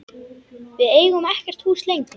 Við eigum ekkert hús lengur.